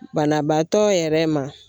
Banabaatɔ yɛrɛ ma